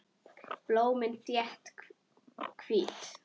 Blómin þétt, hvít.